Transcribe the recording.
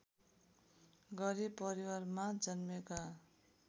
गरिब परिवारमा जन्मेका